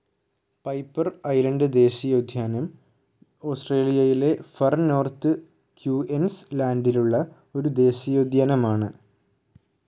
Piper Island ദേശിയോദ്ധ്യാനം ഓസ്ട്രേലിയയിലെ far north ക്യൂ ന്‌ സ്‌ ലാൻഡിലുള്ള ഒരു ദേശിയോദ്ധ്യൻഅമൻ.